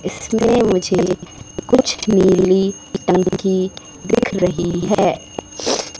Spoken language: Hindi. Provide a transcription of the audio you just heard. इसमें मुझे कुछ नीली टंकी दिख रही है।